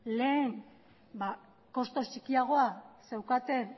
lehen kostu txikiagoa zeukaten